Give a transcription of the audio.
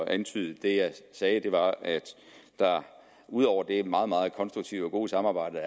antyde det jeg sagde var at vi ud over det meget meget konstruktive og gode samarbejde